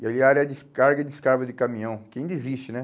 E ali era a área de carga e descarga de caminhão, que ainda existe, né?